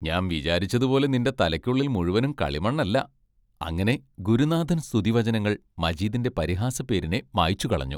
ഞാൻ വിചാരിച്ചതുപോലെ നിന്റെ തലയ്ക്കുള്ളിൽ മുഴുവനും കളിമണ്ണല്ല അങ്ങനെ ഗുരുനാഥൻ സ്തുതിവചനങ്ങൾ മജീദിന്റെ പരിഹാസപ്പേരിനെ മാച്ചുകളഞ്ഞു.